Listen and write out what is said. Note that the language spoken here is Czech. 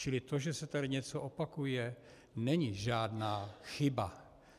Čili to, že se tady něco opakuje, není žádná chyba.